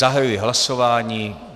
Zahajuji hlasování.